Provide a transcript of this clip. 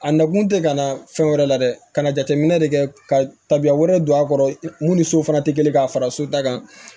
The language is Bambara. A nakun tɛ ka na fɛn wɛrɛ la dɛ ka na jateminɛ de kɛ ka tabiya wɛrɛ don a kɔrɔ mun ni so fana tɛ kelen ka fara so ta kan